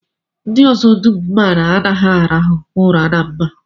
Ndị ọzọ dum m maara anaghị arahu ụra na mba